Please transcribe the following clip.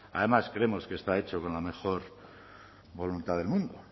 además creemos que está hecho con la mejor voluntad del mundo